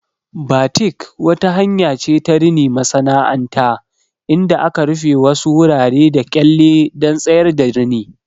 Batik wata hanya ce ta rini masana'anta inda aka rufe wasu wuraren da kyalle don tsayar da rini.